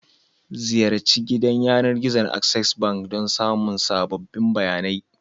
Ziyarci gidan yanar gizon Access Bank don samun sabbin bayanai.